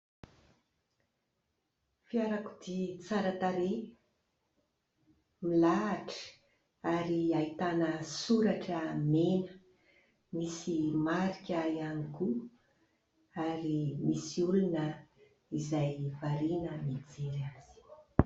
Fiarakodia tsara tarehy, milahatra ary ahitana soratra mena. Misy marika ihany koa ary misy olona izay variana mijery.